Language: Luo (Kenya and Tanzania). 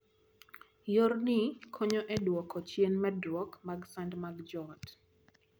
Yorni konyo e duoko chien medruok mag sand mag joot.